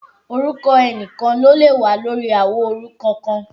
Orúkọ ẹnìkan ni ó lè wà lórí àwo orúkọ kan